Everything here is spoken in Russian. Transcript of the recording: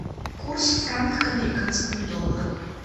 курс франк к американскому доллару